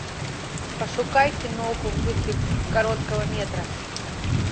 пошукай киноху в духе короткого метра